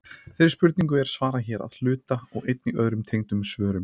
þeirri spurningu er svarað hér að hluta og einnig í öðrum tengdum svörum